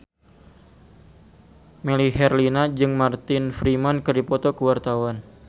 Melly Herlina jeung Martin Freeman keur dipoto ku wartawan